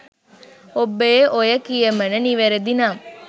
ඔබේ ඔය කියමණ නිවැරදි නම්